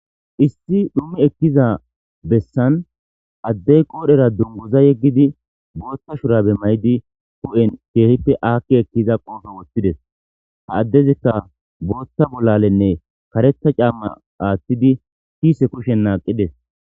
Issi dhummi ekkiza bessan addey qoodhera dungguza yeggidi booththa shurabe may7di hu7en keehippe aakki ekkiza qoobe woththides. Ha addezikka booththa bollalenne kareththa caamma aaththidi kiise kushen naaqides.